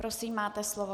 Prosím, máte slovo.